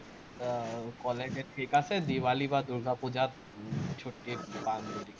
আহ ক'লে যে ঠিক আছে, দিৱালী বা দূৰ্গাপুজাত ছুটি